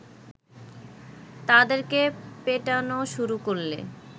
তাদেরকে পেটানো শুরু করলে